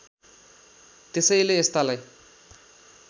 त्यसैले यस्तालाई